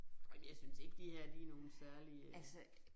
Ej men jeg synes ikke de her de nogle særlig øh